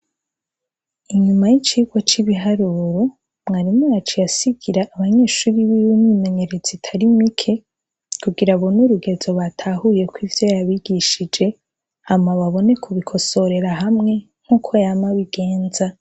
Inyuma y'icigwa c'ibiharuro, mwarimu yaciye asigira abanyeshure biwe imyimenyerezo itari mike, kugira abone urugezo batahuyeko ivyo yabigishije, hama babone kubikosorera hamwe, nkuko yama abigenza.